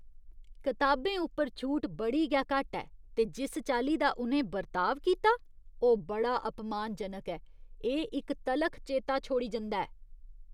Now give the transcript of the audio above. कताबें उप्पर छूट बड़ी गै घट्ट ऐ ते जिस चाल्ली दा उ'नें बर्ताव कीता ओह् बड़ा अपमानजनक ऐ। एह् इक तलख चेता छोड़ी जंदा ऐ।